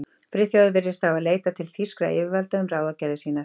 Friðþjófur virðist því hafa leitað til þýskra yfirvalda um ráðagerðir sínar.